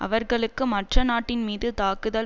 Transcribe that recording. அவர்களுக்கு மற்ற நாட்டின் மீது தாக்குதல்